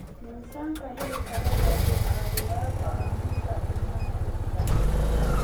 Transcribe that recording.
Miisaanka hilibka lo'da wuxuu caawiyaa go'aaminta qiimaha iibka.